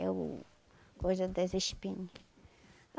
é o coisa das espinhas.